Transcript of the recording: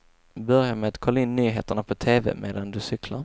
Börja med att kolla in nyheterna på tv medan du cyklar.